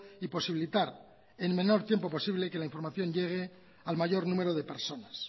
y posibilitar en el menor tiempo posible que la información llegue al mayor número de personas